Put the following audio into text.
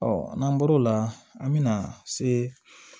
n'an bɔr'o la an bɛna se